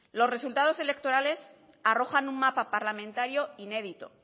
los resultados electorales arrojan un mapa parlamentario inédito